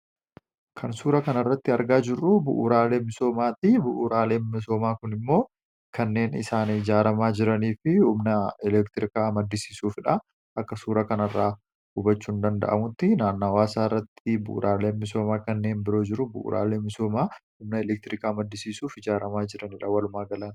kan suura kana irratti argaa jirru bu'uuraalee misoomaati. Bu'uraaleen misoomaa kun immoo kanneen isaanii jaaramaa jiranii fihumna elektirikaa maddisiisuufdha. Akka suura kana irraa hubachuu hin danda’amutti naannawaasaa irratti bu'uraaleen misoomaa kanneen biroo jiru. Bu'uraalee misoomaa humna elektiriikaa maddisiisuuf jaaramaa jiran.